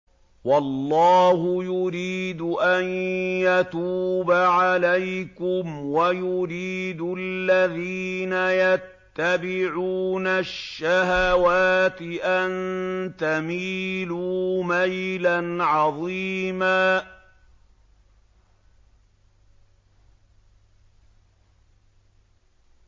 وَاللَّهُ يُرِيدُ أَن يَتُوبَ عَلَيْكُمْ وَيُرِيدُ الَّذِينَ يَتَّبِعُونَ الشَّهَوَاتِ أَن تَمِيلُوا مَيْلًا عَظِيمًا